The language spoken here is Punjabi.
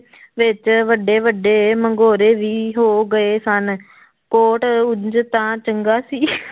ਵਿੱਚ ਵੱਡੇ ਵੱਡੇ ਮਗੋਰੇ ਵੀ ਹੋ ਗਏ ਸਨ ਕੋਟ ਉਞ ਤਾਂ ਚੰਗਾ ਸੀ